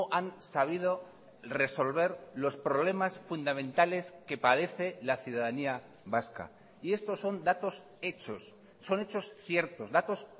han sabido resolver los problemas fundamentales que padece la ciudadanía vasca y estos son datos hechos son hechos ciertos datos